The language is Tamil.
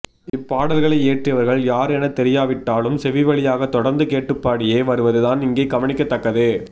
இப்பாடல்களை இயற்றியவர்கள் யார் என தெரியாவிட்டாலும் செவி வழியாக தொடர்ந்துகேட்டுப்பாடியே வருவது தான் இங்கே கவனிக்கத்தக்கது